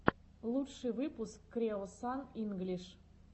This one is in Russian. лучший выпуск креосан инглиш